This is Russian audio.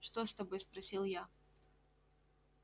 что с тобой спросил я